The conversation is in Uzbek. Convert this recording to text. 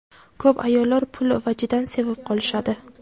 Ko‘p ayollar pul vajidan sevib qolishadi.